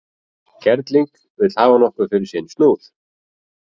Kerling vill hafa nokkuð fyrir sinn snúð.